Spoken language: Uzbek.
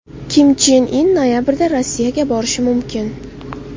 Kim Chen In noyabrda Rossiyaga borishi mumkin.